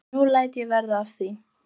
En nú læt ég verða af því.